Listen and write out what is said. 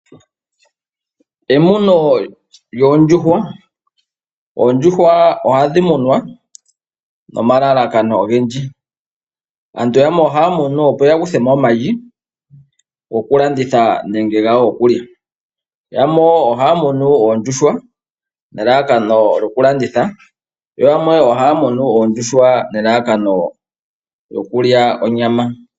Emuno lyoondjuhwa, oondjuhwa ohadhi munwa nomalalakano ogendji. Aantu yamwe ohaya munu opo ya kuthemo omayi gokulanditha nenge gawo gokulya. Yamwe ohaya munu oondjuhwa nelalakano lyokulanditha, yo yamwe ohaya munu oondjuhwa nelalakano lyokulya onyama.